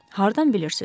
Hardan bilirsiz?